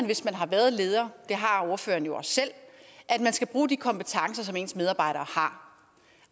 hvis man har været leder det har ordføreren jo også selv at man skal bruge de kompetencer som ens medarbejdere har